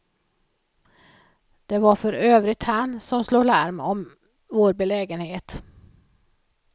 Det var för övrigt han som slog larm om vår belägenhet.